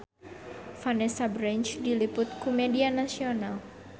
Vanessa Branch diliput ku media nasional